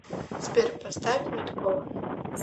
сбер поставь медкова